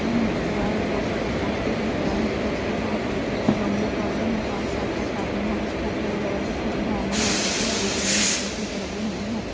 यहां पर दीवार बहुत पोस्टरी पोस्ट लगाया तथा उसके बाहर गमले पड़े हैं पांच सात और साथ में यहां पर स्कूटियां वगैरह भी खड़ी है और बाहर अंतर गमले दिख रहे हैं जिसमें खिड़क लगी हुई हैं.